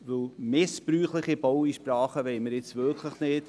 Denn missbräuchliche Baueinsprachen wollen wir wirklich nicht.